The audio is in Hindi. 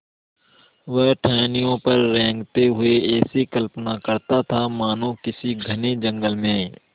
वह टहनियों पर रेंगते हुए ऐसी कल्पना करता मानो किसी घने जंगल में